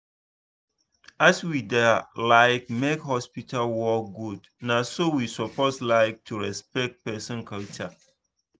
as we da like make hospital work good na so we suppose like to respect person culture